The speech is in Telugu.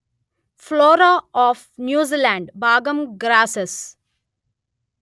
ఫ్లోరా ఆఫ్ న్యూజీల్యాండ్ భాగం గ్రాసెస్